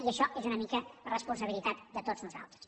i això és una mica la responsabilitat de tots nosaltres